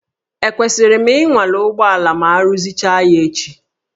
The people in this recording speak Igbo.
Ekwesịrị m ịnwale ụgbọala ma aruzicha ya echi?